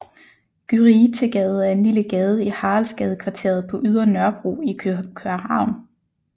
Gyritegade er en lille gade i Haraldsgadekvarteret på Ydre Nørrebro i København